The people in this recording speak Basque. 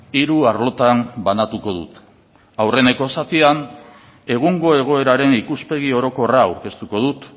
hiru arlotan banatuko dut aurreneko zatian egungo egoeraren ikuspegi orokorra aurkeztuko dut